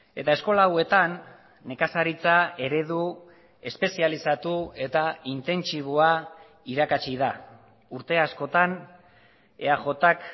eta eskola hauetan nekazaritza eredu espezializatu eta intentsiboa irakatsi da urte askotan eajk